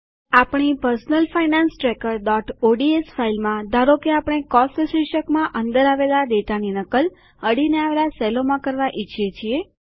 આપણી personal finance tracker ODS ફાઈલમાં ધારો કે આપણે કોસ્ટ શીર્ષકમાં અંદર આવેલા ડેટાની નકલ અડીને આવેલા કોષોમાં કરવા ઈચ્છીએ છીએ